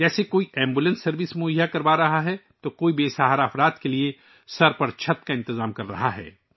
جیسے کوئی ambulance service فراہم کر رہا ہے تو کوئی بے سہارا لوگوں کے سر پر چھت کا انتظام کر رہا ہے